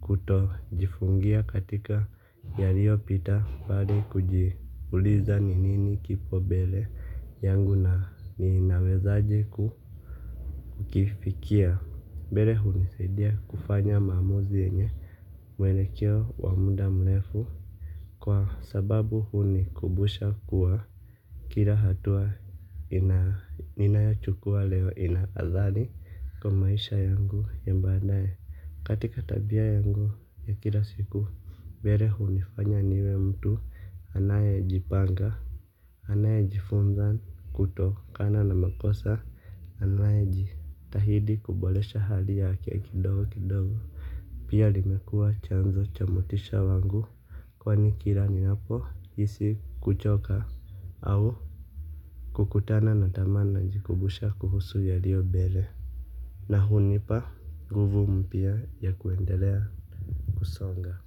kuto jifungia katika yalio pita bali kujiuliza ni nini kipo mbele yangu na ninawezaje kukifikia. Mbele hunisaidia kufanya maamuzi yenye mwelekeo wa muda mrefu. Kwa sababu huni kumbusha kuwa kila hatua ninayochukua leo ina athari kwa maisha yangu ya baadaye. Katika tabia yangu ya kila siku. Mbele huni anya niwe mtu anayejipanga anayejifunza kutokana na makosa anayejitahidi kuboresha hali yake kidogo kidogo. Pia limekua chanzo cha motisha wangu kwani kila ninapo hisi kuchoka au kukutana na tamaa najikumbusha kuhusu yaliyo mbele. Na hunipa nguvu mpya ya kuendelea kusonga.